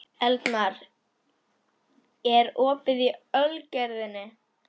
Eldmar, er opið í Ölgerðinni?